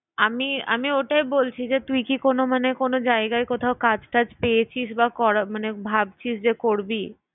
আমি আমি ওটাই বলছি যে তুই কি কোন মানে কোন জায়গায় কোথাও কাজ টাজ পেয়েছিস বা করা মানে ভাবছিস যে করবি?